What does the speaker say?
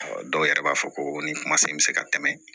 Ɔ dɔw yɛrɛ b'a fɔ ko ni kumasen bɛ se ka tɛmɛ